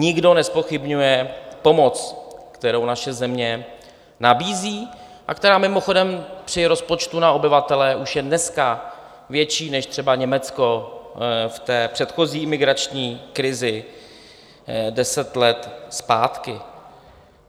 Nikdo nezpochybňuje pomoc, kterou naše země nabízí a která mimochodem při rozpočtu na obyvatele už je dneska větší než třeba Německo v té předchozí imigrační krizi deset let zpátky.